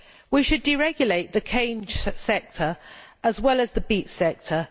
We should deregulate the cane sector as well as the beet sector.